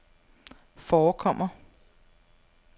forekommer